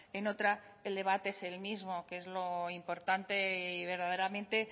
en otra el debate es el mismo que es lo importante y verdaderamente